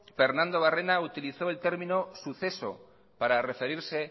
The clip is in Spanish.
pernando barrena utilizó el término suceso para referirse